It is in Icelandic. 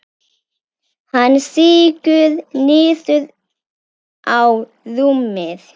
Hann sígur niður á rúmið.